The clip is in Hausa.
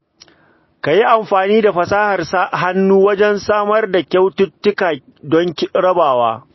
Ka yi amfani da fasahar hannu wajen samar da kyaututtuka don rabawa.